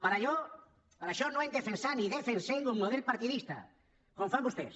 per això no hem defensat ni defensem un model partidista com fan vostès